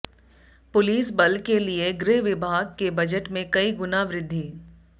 police बल के लिए गृह विभाग के बजट में कई गुना वृद्धि